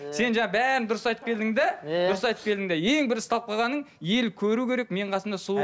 сен жаңа бәрін дұрыс айтып келдің де иә дұрыс айтып келдің де ең бір ұсталып қалғаның ел көру керек менің қасымда сұлу